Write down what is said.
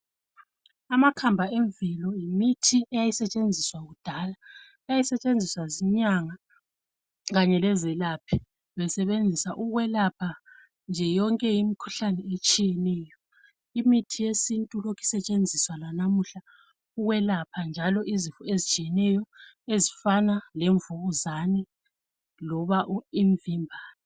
Amakhamba emvelo yimithi eyayisetshenziswa kudala. Yayisetshenziswa zinyanga kanye lezelaphi. Besebenzisa ukwelapha nje, yonke imikhuhlane etshiyeneyo. Imithi yesintu ilokhu isetshenziswa lalamuhla, ukwelapha njalo izinto ezitshiyeneyo. Ezifana lemvukuzane loba imvimbano.